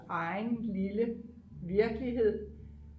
egen lille virkelighed